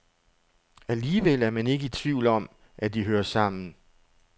Alligevel er man ikke i tvivl om, at de hører sammen.